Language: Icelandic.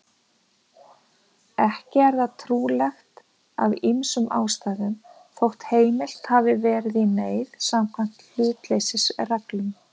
Ekki er það trúlegt af ýmsum ástæðum, þótt heimilt hafi verið í neyð samkvæmt hlutleysisreglum.